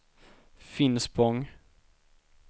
Finspång